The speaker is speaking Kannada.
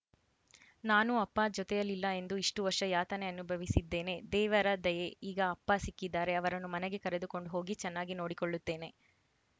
ನಾನೂ ಅಪ್ಪ ಜೊತೆಯಿಲ್ಲಿಲ್ಲ ಎಂದು ಇಷ್ಟುವರ್ಷ ಯಾತನೆ ಅನುಭವಿಸಿದ್ದೇನೆ ದೇವರ ದಯೆ ಈಗ ಅಪ್ಪ ಸಿಕ್ಕಿದ್ದಾರೆ ಅವರನ್ನು ಮನೆಗೆ ಕರೆದುಕೊಂಡು ಹೋಗಿ ಚೆನ್ನಾಗಿ ನೋಡಿಕೊಳ್ಳುತ್ತೇನೆ